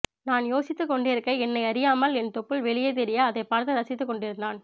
நான் யோசித்துக் கொண்டிருக்க என்னை அறியாமல் என் தொப்புள் வெளியே தெரிய அதைப்பாத்து ரசித்துக் கொண்டிருந்தான்